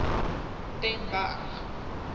den berg